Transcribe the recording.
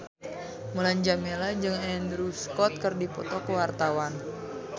Mulan Jameela jeung Andrew Scott keur dipoto ku wartawan